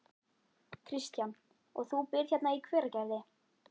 Kristján: Og þú býrð hérna í Hveragerði?